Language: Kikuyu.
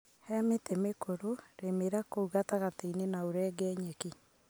Hemĩtĩ mĩkũrũ rĩmĩra kũu gatagatĩini na urenge nyeki.